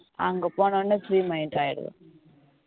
அங்க போன உடனே free mind ஆயிடுவேன்